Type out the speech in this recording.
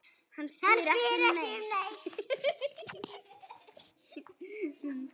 Hann spyr ekki um neitt.